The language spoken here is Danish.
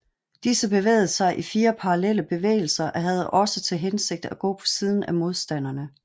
Disse bevægede sig i fire parallelle bevægelser og havde også til hensigt at gå på siden af modstanderne